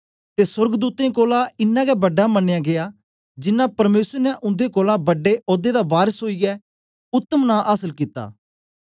ते सोर्गदूतें कोलां इनां गै बड़ा मनयां गीया जिनां परमेसर ने उन्दे कोलां बड्डे औदे दा वारस ओईयै उत्तम नां आसल कित्ता